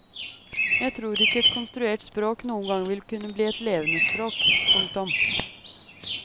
Jeg tror ikke et konstruert språk noen gang vil kunne bli et levende språk. punktum